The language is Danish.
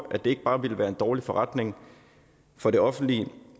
at det ikke bare ville være en dårlig forretning for det offentlige